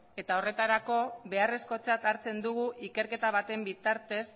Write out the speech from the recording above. eta horretarako beharrezkotzat hartzen dugu ikerketa baten bitartez